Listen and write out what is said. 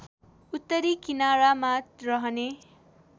उत्तरी किनारामा रहने